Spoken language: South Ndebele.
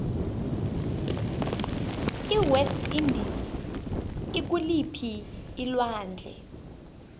iwest indies ikuliphii alwandle